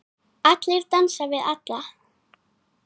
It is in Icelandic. Allir dansa við alla.